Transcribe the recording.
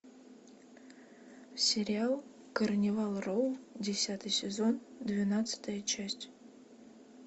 сериал карнивал роу десятый сезон двенадцатая часть